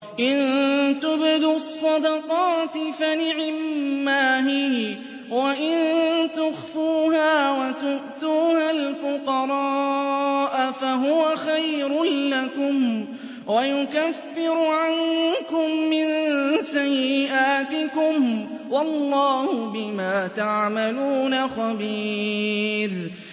إِن تُبْدُوا الصَّدَقَاتِ فَنِعِمَّا هِيَ ۖ وَإِن تُخْفُوهَا وَتُؤْتُوهَا الْفُقَرَاءَ فَهُوَ خَيْرٌ لَّكُمْ ۚ وَيُكَفِّرُ عَنكُم مِّن سَيِّئَاتِكُمْ ۗ وَاللَّهُ بِمَا تَعْمَلُونَ خَبِيرٌ